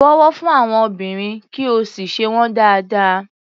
Bọ̀wọ̀ fún àwọn obìnrin, kí o sì ṣe wọ́n dáádáa.